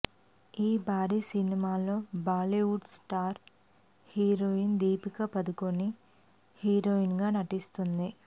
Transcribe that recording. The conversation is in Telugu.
ఈ భారీ సినిమాలో Bollywood star heroine Deepika Padukone heroine గా నటిస్తోంది